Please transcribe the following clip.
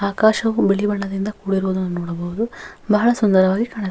ಆಕಾಶವು ಬಿಳಿ ಬಣ್ಣದಿಂದ ಕೂಡಿರುವುದನ್ನು ನೋಡಬಹದು ಬಹಳ ಸುಂದರವಾಗಿ ಕಾಣಿಸು--